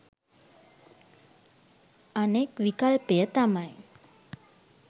අනෙක් විකල්පය තමයි